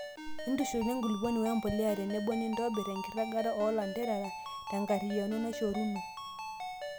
intushula enkulupuoni wee mbuliya tenebo nirobir enkiragata oo lanterera tengariyiano naishoruno